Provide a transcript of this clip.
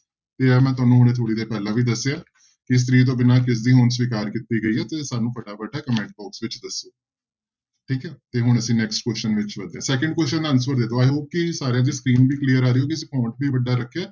ਤੇ ਇਹ ਮੈਂ ਤੁਹਾਨੂੰ ਹੁਣੇ ਥੋੜ੍ਹੀ ਦੇਰ ਪਹਿਲਾਂ ਵੀ ਦੱਸਿਆ ਵੀ ਇਸਤਰੀ ਤੋਂ ਬਿਨਾਂ ਕਿਸਦੀ ਹੋਂਦ ਸਵਿਕਾਰ ਕੀਤੀ ਗਈ ਹੈ ਤੇ ਸਾਨੂੰ ਫਟਾਫਟ comment box ਵਿੱਚ ਦੱਸੋ ਠੀਕ ਹੈ ਤੇ ਹੁਣ ਅਸੀਂ next question ਵਿੱਚ ਵੱਧਦੇ ਹਾਂ second question ਦਾ answer ਦੇ ਦਓ i hope ਕਿ ਸਾਰਿਆਂ ਦੀ screen ਵੀ clear ਆ ਰਹੀ ਅਸੀਂ ਵੀ ਵੱਡਾ ਰੱਖਿਆ।